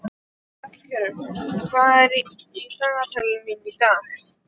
Hallgerður, hvað er í dagatalinu mínu í dag?